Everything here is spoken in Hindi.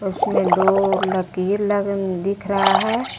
इसमें दो लकीर लगे हुए दिख रहा है।